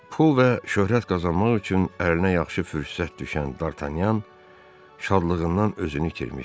Pul və şöhrət qazanmaq üçün əlinə yaxşı fürsət düşən D'Artagnan şadlığından özünü itirmişdi.